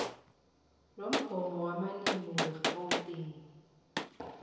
lomgomo wamalimi wegauteng